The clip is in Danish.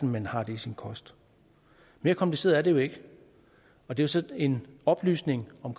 man har det i sin kost mere kompliceret er det jo ikke og det er så en oplysning om